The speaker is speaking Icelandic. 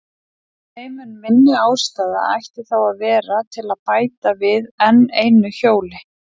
Þeim mun minni ástæða ætti þá að vera til að bæta við enn einu hjóli.